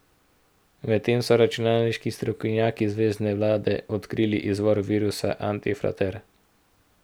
Medtem so računalniški strokovnjaki zvezne vlade odkrili izvor virusa antifrater.